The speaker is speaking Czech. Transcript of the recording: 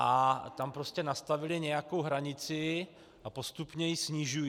A tam prostě nastavili nějakou hranici a postupně ji snižují.